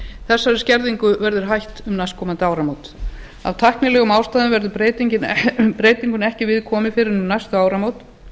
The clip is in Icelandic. þessari skerðingu verður hætt um næstkomandi áramót af tæknilegum ástæðum verður breytingunni ekki við komið fyrr en um næstu áramót